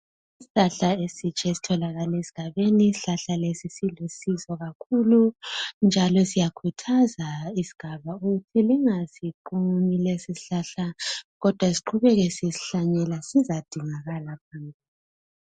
Isihlahla esitsha esitholakala esigabeni isihlahla lesi silusizo kakhulu njalo siyakhuthaza isigaba ukuthi lingasiqumi lesi sihlahla kodwa siqhubeke sisihlanyela sizadingakala phela